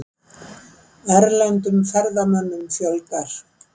Erlendum ferðamönnum fjölgar